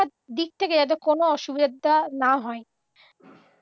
দিক থেকে যাতে কোনও অসুবিধাটা না হয়